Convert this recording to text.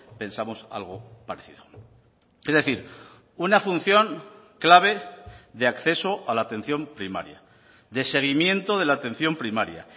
pensamos algo parecido es decir una función clave de acceso a la atención primaria de seguimiento de la atención primaria